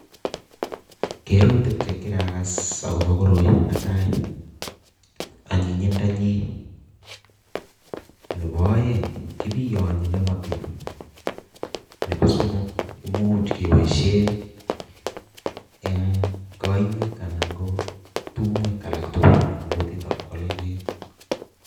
Keerutik chekirakas akobo koroi netai anyinyindonyin, nebo oeng kebiyonyee nemotin, Nebo somok komuch keboishien en koiwek anan ko tumwek alak tugul